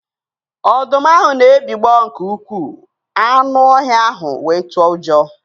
Ọdụm ahụ na-ebigbọ nke ukwuu, anụ ọhịa ahụ wee tụọ ụjọ